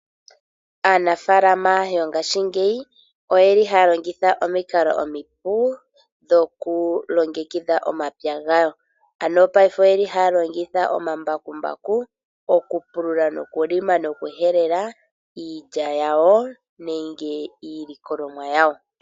Aanafaalama mongashingeyi oyeli haya longitha omikalo omipu dhokulongekidha omapya gawo, ano paife oyeli haya longitha omambakumbaku okupulula nokulima nokuhelela iilya yawo nenge iilikolomwa yawo.